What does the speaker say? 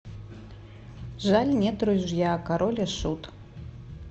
жаль нет ружья король и шут